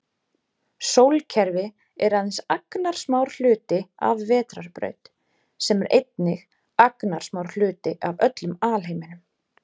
Sólkerfi er aðeins agnarsmár hluti af vetrarbraut sem er einnig agnarsmár hluti af öllum alheiminum.